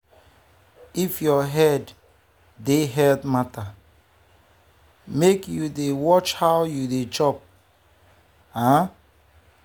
if your head dey health matter make you dey watch how you dey chop. um